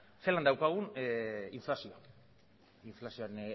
zelan daukagun inflazioa inflazioaren